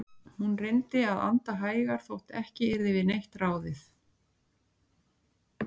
Hún reyndi að anda hægar þótt ekki yrði við neitt ráðið.